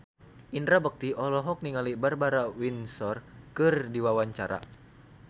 Indra Bekti olohok ningali Barbara Windsor keur diwawancara